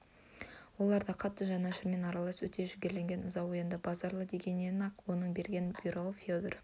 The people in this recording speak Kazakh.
оларда да қатты жанашырмен аралас өте жігерленген ыза оянды базаралы дегеннен-ақ оның берген бұйрығын федор